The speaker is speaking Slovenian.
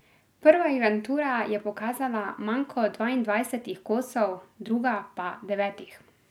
Prva inventura je pokazala manko dvaindvajsetih kosov, druga pa devetih.